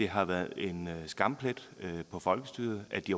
har været en skamplet på folkestyret at de